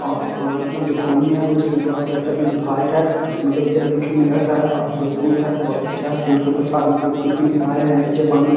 और पानी जो पानी है उससे बहोत अच्छा मतलब व्हाइट है मतलब उज्जर देखे में लग रहा है और जो पूल है बहोत अच्छा है पूल के ऊपर से आदमी कूद-कूद के नहा रहे है नीचे पानी में।